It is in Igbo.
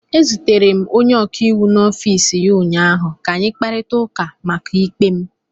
Ezutere m onye ọkaiwu n'ọfiisi ya ụnyaahụ ka anyị kparịta ụka maka ikpe m.